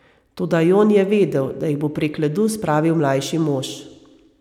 Toda Jon je vedel, da jih bo prek ledu spravil mlajši mož.